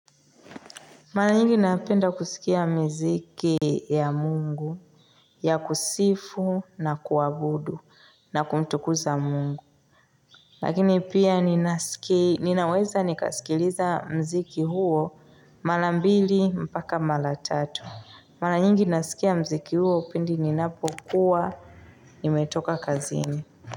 Mala nyingi napenda kusikia miziki ya mungu ya kusifu na kuabudu na kumtukuza mungu. Lakini pia ninaweza nikasikiliza mziki huo mala mbili mpaka mala tatu. Mala nyingi nasikia mziki huo pindi ninapokuwa nimetoka kazini.